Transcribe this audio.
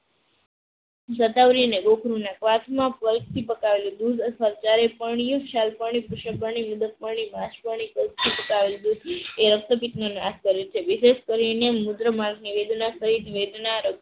પકાવેલું દૂધ અને જ્યારે પરણીય ક્ષાર એ રક્તપિતનો નાખ કરે છે